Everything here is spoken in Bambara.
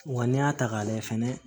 Wa n'i y'a ta k'a lajɛ fɛnɛ